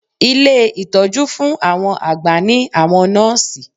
Ilé ìtọjú fun àwọn àgbà ní àwọn nọ́ọ̀sì.